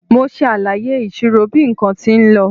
Mo ṣàlàyé ìṣirò bí nǹkan tí lọ.